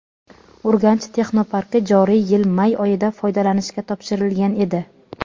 "Urganch" texnoparki joriy yil may oyida foydalanishga topshirilgan edi.